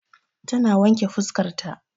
Ta na wanke fuskar ta